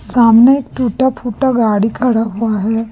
सामने एक टूटा फुटा गाड़ी खड़ा हुआ है।